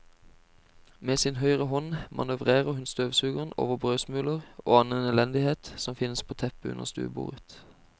Med sin høyre hånd manøvrerer hun støvsugeren over brødsmuler og annen elendighet som finnes på teppet under stuebordet.